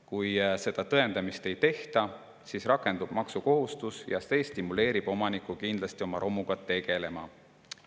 Kui seda tõendamist ei tehta, siis rakendub maksukohustus ja see stimuleerib omanikku kindlasti oma romuga tegelema.